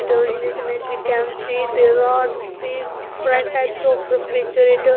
In this image we can see big different types of refrigerator --